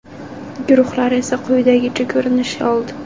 Guruhlar esa quyidagicha ko‘rinish oldi.